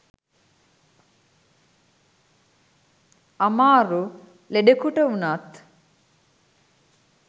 අමාරු ලෙඩෙකුට වුනත්